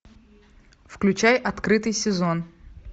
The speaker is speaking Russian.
включай открытый сезон